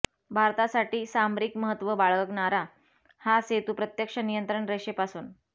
भारतासाठी सामरिक महत्त्व बाळगणारा हा सेतू प्रत्यक्ष नियंत्रण रेषेपासून